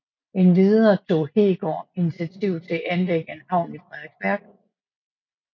Endvidere tog Heegaard initiativ til anlægge en havn i Frederiksværk